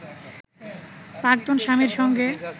প্রাক্তন স্বামীর সঙ্গে